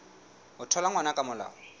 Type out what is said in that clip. ho thola ngwana ka molao